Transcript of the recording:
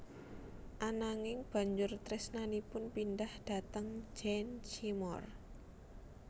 Ananging banjur tresnanipun pindah dhateng Jane Seymour